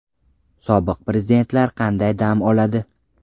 Sobiq prezidentlar qanday dam oladi?